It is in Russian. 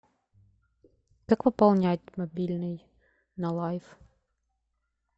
как пополнять мобильный на лайф